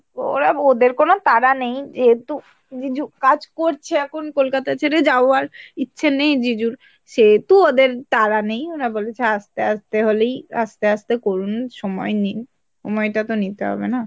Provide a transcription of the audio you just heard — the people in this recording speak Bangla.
ওরা ওদের কোনো তাড়া নেই যেহেতু জিজু কাজ করছে এখন কলকাতা ছেড়ে যাওয়ার ইচ্ছা নেই জিজুর সেহেতু ওদের তাড়া নেই ওরা বলেছে আস্তে আস্তে হলেই আস্তে আস্তে করুন সময় নিন সময়টাতে নিতে হবে না।